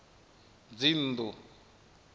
dzinnḓu